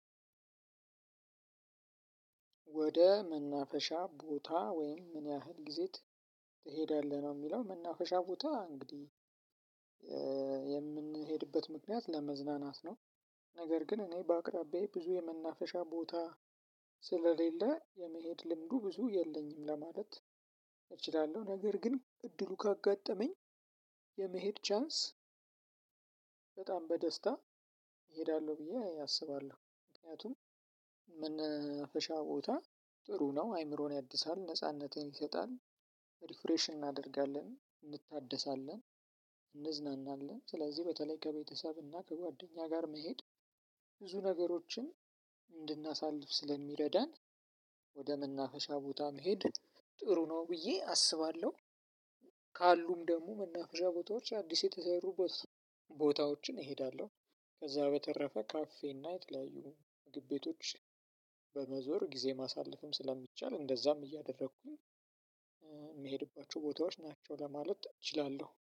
ወደ መናፈሻ ቦታ ወይም ምን ያህል ጊዜ ትሄዳለህ ነው? የሚለው መናፈሻ ቦታ እንግዲህ የምንሄድበት ምክንያት ለመዝናናት ነው። ነገር ግን እኔ በአቅራቢያዬ ብዙ የመናፈሻ ቦታ ስለሌለ የመሄድ ልምዱ ብዙ የለኝም ለማለት እችላለሁ። ነገር ግን እድሉ ካጋጠመኝ የመሄድ ቻንስ በጣም በደስታ እሄዳለሁ ብዬ አስባለሁ። ምክንያቱም መናፈሻ ቦታ ጥሩ ነው አይምሮን ያድሳል ነጻነትን ይሰጣል። ሪፍሬሽን እናደርጋለን እንታደሳለን እንዝናናለን። ስለዚህ በተለይ ከቤተሰብ እና ከጓደኛ ጋር መሄድ ብዙ ነገሮችን እንድናሳልፍ ስለሚረዳን ወደ መናፈሻ ቦታ መሄድ ጥሩ ነው ብዬ አስባለሁ። ካሉም ደግሞ መናፈሻ ቦታዎች አዲስ የተሰሩ ቦታዎችን እሄዳለሁ። ከዛ በተረፈ ካፌ እና የተለያዩ ምግቢቶች በመዞር ጊዜ ማሳለፍም ስለሚቻል እንደዛም እያደረኩኝ የምሄድባቸው ቦታዎች ናቸው ለማለት እችላለሁ